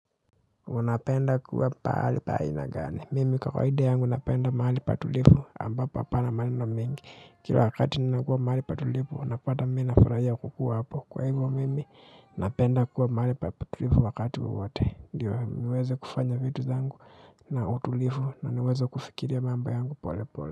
Unapenda kuwa pahali pa aina gani mimi kawaida yangu napenda mahali patulivu ambapo hapana maneno mengi kila wakati ninakuwa mahali patulivu unapata mimi nafurahia kukua hapo kwa hivyo mimi napenda kuwa mahali patulivu wakati wowote ndio niweze kufanya vitu zangu na utulivu na niweze kufikiria mambo yangu pole pole.